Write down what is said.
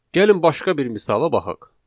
Gəlin başqa bir misala baxaq.